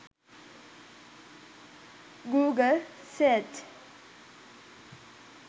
google search